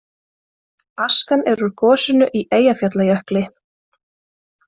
Askan er úr gosinu í Eyjafjallajökli